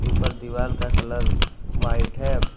ऊपर दीवाल का कलर वाईट है।